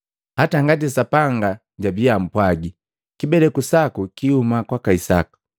hata ngati Sapanga jabii ampwagi, “Kibeleku saku kiihuma kwaka Isaka.”